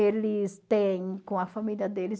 Eles têm com a família deles.